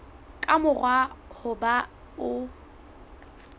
ka mora ho ba o